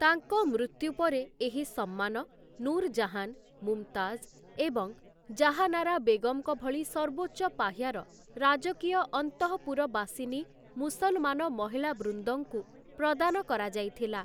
ତାଙ୍କ ମୃତ୍ୟୁ ପରେ ଏହି ସମ୍ମାନ ନୂରଜାହାନ୍, ମୁମତାଜ୍ ଏବଂ ଜାହାନାରା ବେଗମଙ୍କ ଭଳି ସର୍ବୋଚ୍ଚ ପାହ୍ୟାର ରାଜକୀୟ ଅନ୍ତଃପୁରବାସିନୀ ମୁସଲମାନ ମହିଳାବୃନ୍ଦଙ୍କୁ ପ୍ରଦାନ କରାଯାଇଥିଲା ।